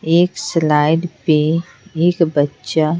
एक स्लाइड पे एक बच्चा--